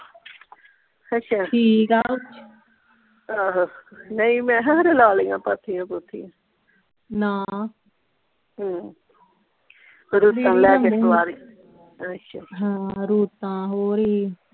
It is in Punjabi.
ਹਸ਼ਾ ਠੀਕ ਆ ਆਹੋ ਨਹੀਂ ਮੈਂ ਕਿਹਾ ਖਰੇ ਲਾ ਲਈਆਂ ਪਾਥੀਆਂ ਪੂਥੀਆਂ ਨਾ ਹਮ ਆਸ਼ਾ ਹਾਂ ਰੋਟਾਂ ਹੋਰ ਈ